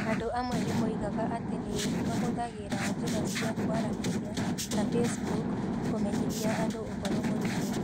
Andũ amwe nĩ moigaga atĩ nĩ nĩ mahũthagĩra njĩra cia kwaranĩria ta Facebook kũmenyithia andũ ũhoro mũritũ.